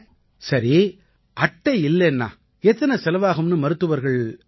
சரி அட்டை இல்லைன்னா எத்தனை செலவாகும்னு மருத்துவர்கள் சொன்னாங்களா